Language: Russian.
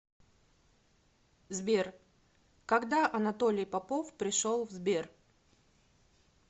сбер когда анатолий попов пришел в сбер